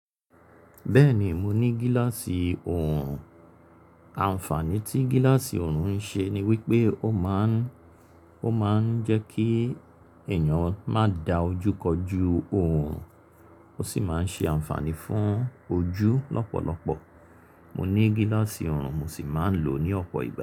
Bẹ́ẹ̀ni, mo ní gíláàsì oorùn. Ànfàní tí gíláàsì oorùn ń ṣe ni wípé ó máa ń, ó máa ń jẹ́ kí èèyàn má da ojú kọjú oorùn, ó sì máa ń ṣe ànfàní fún ojú lọ́pọ̀lọpọ̀. Mo ní gíláàsì orùn, mo sì máa ń lò ó ní ọ̀pọ̀ ìgbà.